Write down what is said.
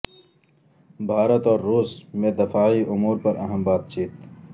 بھارت اور روس میں دفاعی امور پر اہم بات چیت